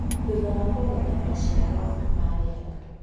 Thutha wa kũgetha (maciaro ma rĩera)